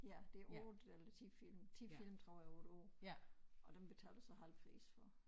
Ja det er 8 eller 10 film 10 film tror jeg over et år og dem betaler så halv pris for